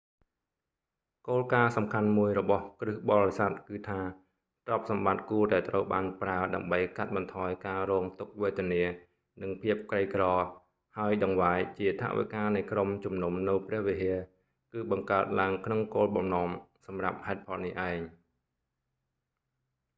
គោលការណ៍សំខាន់មួយរបស់គ្រីស្ទបរិស័ទគឺថា ទ្រព្យសម្បត្តិគួរតែត្រូវបានប្រើដើម្បីកាត់បន្ថយការរងទុក្ខវេទនា និងភាពក្រីក្រ ហើយតង្វាយជាថវិការនៃក្រុមជំនុំនៅព្រះវិហារគឺបង្កើតឡើងក្នុងគោលបំណងសម្រាប់ហេតុផលនេះឯង